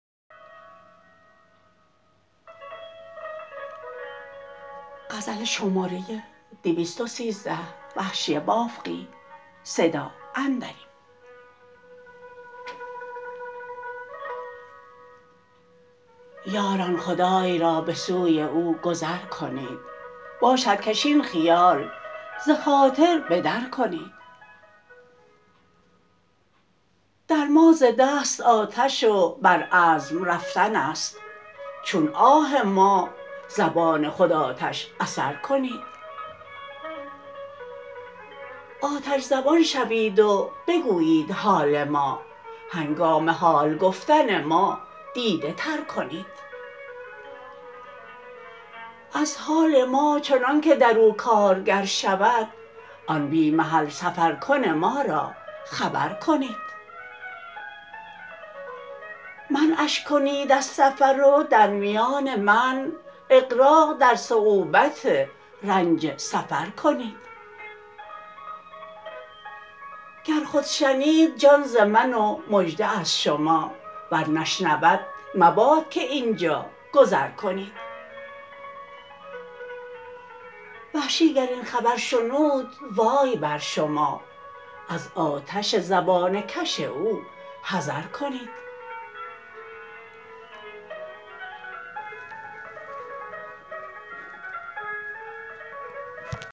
یاران خدای را به سوی او گذر کنید باشد کش این خیال ز خاطر بدر کنید در ما ز دست آتش و بر عزم رفتن است چون آه ما زبان خود آتش اثر کنید آتش زبان شوید و بگویید حال ما هنگام حال گفتن ما دیده تر کنید از حال ما چنانکه درو کارگر شود آن بی محل سفر کن ما را خبر کنید منعش کنید از سفر و در میان منع اغراق در صعوبت رنج سفر کنید گر خود شنید جان ز من و مژده از شما ور نشنود مباد که اینجا گذر کنید وحشی گر این خبر شنود وای بر شما از آتش زبانه کش او حذر کنید